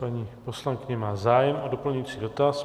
Paní poslankyně má zájem o doplňující dotaz.